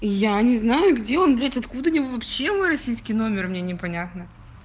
я не знаю где он блять откуда они вообще мы российский номер мне непонятно